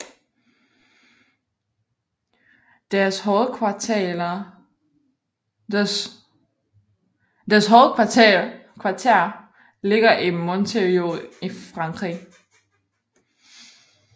Deres hovedkvarter ligger i Montreuil i Frankrig